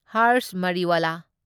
ꯍꯔꯁ ꯃꯔꯤꯋꯥꯂꯥ